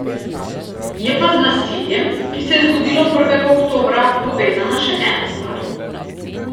Je pa z nasiljem, ki se je zgodilo prvega oktobra, povezana še ena stvar.